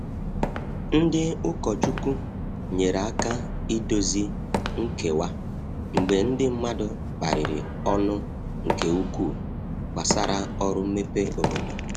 Ndị ụkọchukwu nyere aka idozi nkewa mgbe ndi mmadụ kparịrị ọnụ nke ukwuu gbasara ọrụ mmepe obodo.